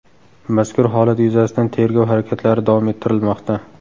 Mazkur holat yuzasidan tergov harakatlari davom ettirilmoqda.